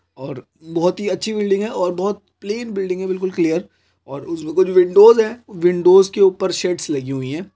और बहुत ही अच्छी बिल्डिंग और बहुत प्लेन बिल्डिंग है बिल्कुल क्लेयर और कुछ विंडोज है विंडोज के ऊपर सेट्स लगी हुई है।